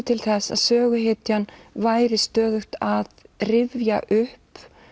til þess að söguhetjan væri stöðugt að rifja upp